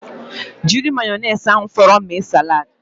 Jiri mayonaisi ahụ fọrọnu mee salad